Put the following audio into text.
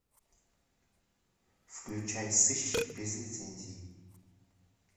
включай сыщик без лицензии